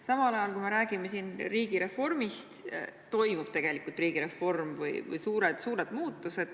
Samal ajal, kui meie räägime riigireformist, toimubki tegelikult riigireform või toimuvad suured muutused.